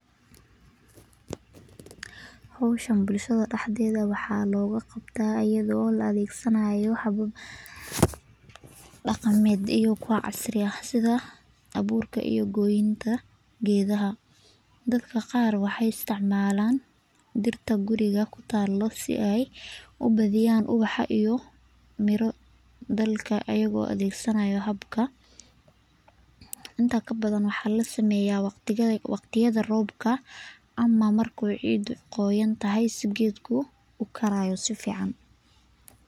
Howshan bulshada dexdeeda waxaa looga qabta ayado la arurinaayo hab nololeedka xawayanada waxaa lasiiya cunto layiraahdo saliid yar wax yar kadib wuu cafimadaya kadib waxaay muhiim utahay in laga qeeb qaato waxeey ii tahay mid mashquul.